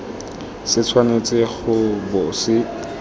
se tshwanetse go bo se